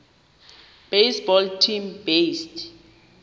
baseball team based